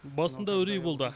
басында үрей болды